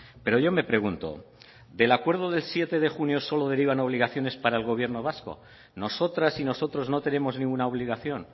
pero yo me pregunto del acuerdo del siete de junio solo derivan obligaciones para el gobierno vasco nosotras y nosotros no tenemos ninguna obligación